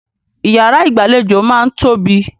Ìyàrá ìgbàlejò máà ń tóbi.